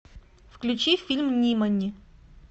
включи фильм нимани